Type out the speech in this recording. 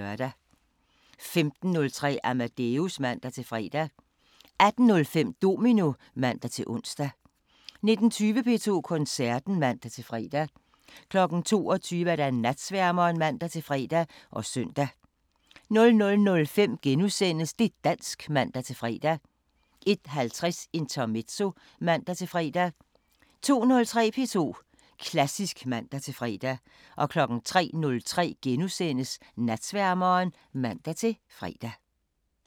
15:03: Amadeus (man-fre) 18:05: Domino (man-ons) 19:20: P2 Koncerten (man-fre) 22:00: Natsværmeren (man-fre og søn) 00:05: Det' dansk *(man-fre) 01:50: Intermezzo (man-fre) 02:03: P2 Klassisk (man-fre) 03:03: Natsværmeren *(man-fre)